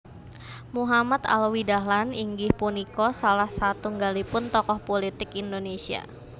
Muhammad Alwi Dahlan inggih punika salah satunggalipun tokoh pulitik Indonésia